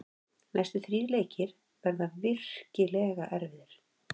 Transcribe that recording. Næstu þrír leikir verða virkilega erfiðir.